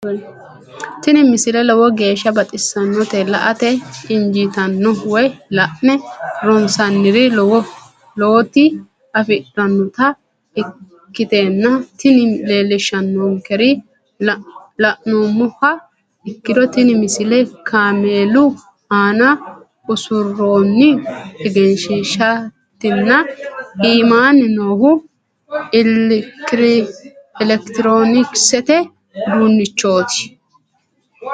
tini misile lowo geeshsha baxissannote la"ate injiitanno woy la'ne ronsannire lowote afidhinota ikkitanna tini leellishshannonkeri la'nummoha ikkiro tini misile kaameelu aana usurroonni egenshiishshaatinna iimaanni noohu elekitiroonikisete uduunnichooti.